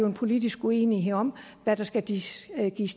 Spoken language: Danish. en politisk uenighed om hvad der skal gives